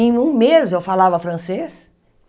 Em um mês, eu falava francês.